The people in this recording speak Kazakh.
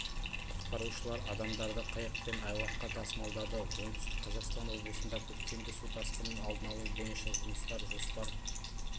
құтқарушылар адамдарды қайықпен айлаққа тасымалдады оңтүстік қазақстан облысында көктемгі су тасқынының алдын алу бойынша жұмыстар жоспар